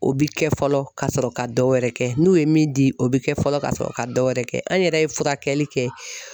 O bi kɛ fɔlɔ ka sɔrɔ ka dɔ wɛrɛ kɛ , n'u ye min di, o bi kɛ fɔlɔ ka sɔrɔ ka dɔ wɛrɛ kɛ ,an yɛrɛ ye furakɛli kɛ.